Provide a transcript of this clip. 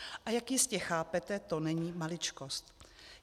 A jak jistě chápete, to není maličkost.